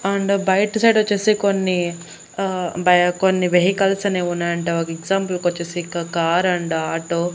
and బయట side వచ్చేసి కొన్ని అహ్ బై కొన్ని వెహికల్స్ అనేవి ఉన్నాయంట ఒక ఎగ్జాంపుల్ కొచ్చేసి ఇక కార్ అండ్ ఆటో --